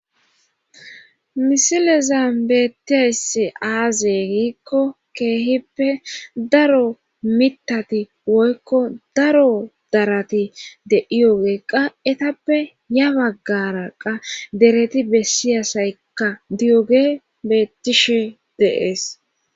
Misileza beettiayssi aaze giikko keehippe daro mitati woykko daro darati de iyogeeqqa etappe ya baggaraqa dereti bessiyasaykka diyoge beettishe deees